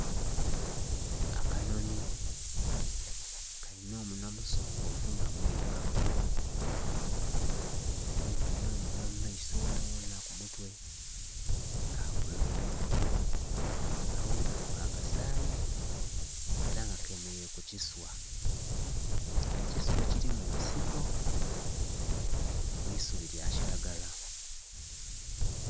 Akanhonhi kali nh'omunhwa musongovu nga mwirugavu, kumpi n'omunhwa mu maiso ghonaghona ku mutwe ka bbululu, aghairaku ka kasayi era nga kemereire ku kiswa , ekiswa ekiri mu nsiko mu isubi lya kiragala.